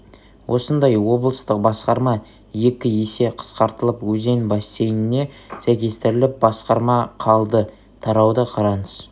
осындай облыстық басқарма екі есе қысқартылып өзен бассейніне сәйкестіріліп басқарма қалды тарауды қараңыз